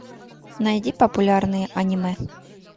найди популярные аниме